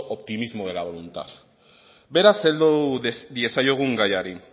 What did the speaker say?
optimismo de la voluntad beraz heldu diezaiogun gaiari